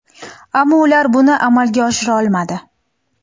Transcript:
Ammo ular buni amalga oshira olmadi.